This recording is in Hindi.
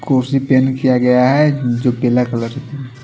कुर्सी पेंट किया गया है जो पीला कलर की--